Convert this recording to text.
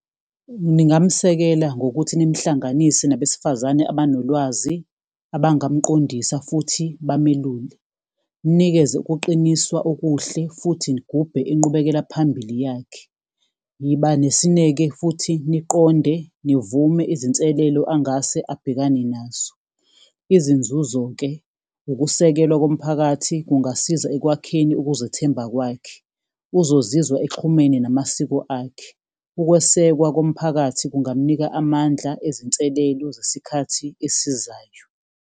Ningamsekela ngokuthi nimhlanganise nabesifazane abanolwazi, abangamqondisa, futhi bamelule. Nimnikeze ukuqiniswa okuhle, futhi nigubhe inqubekela phambili yakhe. Yiba nesineke futhi, niqonde, nivume izinselelo angase abhekane nazo. Izinzuzo-ke, ukusekelwa komphakathi kungasiza ekwakheni ukuzethemba kwakhe. Uzozizwa exhumene namasiko akhe. Ukwesekwa komphakathi kungamnika amandla ezinselelo zesikhathi esizayo.